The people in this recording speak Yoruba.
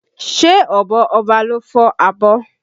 Ṣé ọ̀bọ Ọba ló fọ́ abọ́?